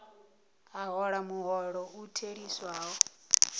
a hola muholo u theliswaho